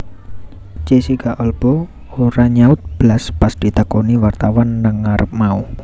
Jessica Alba ora nyaut blas pas ditakoni wartawan nang ngarep mau